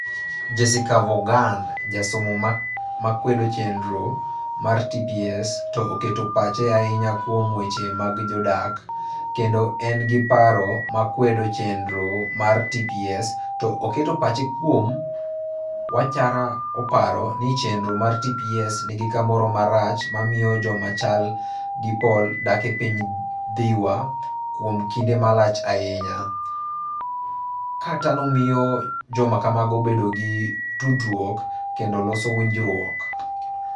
Jessica Vaughan, jasomo ma kwedo chenro mar TPS, to oketo pache ahinya kuom weche mag jodak, kendo en gi paro ma kwedo chenro mar TPS, to oketo pache kuom wachara oparo ni chenro mar TPS nigi kamoro marach mamiyo joma chal gi Paul dak e piny Dhiwa kuom kinde malach ahinya - ka mano miyo joma kamago bedo gi tudruok kendo loso winjruok.